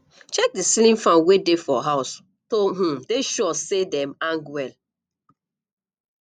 check di ceiling fan wey dey for house to um dey sure sey um dem hang well